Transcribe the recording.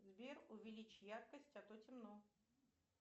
сбер увеличь яркость а то темно